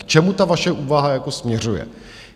K čemu ta vaše úvaha jako směřuje.